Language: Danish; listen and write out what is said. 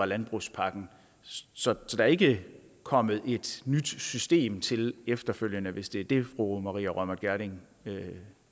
landbrugspakken så der er ikke kommet et nyt system til efterfølgende hvis det er det fru maria reumert gjerding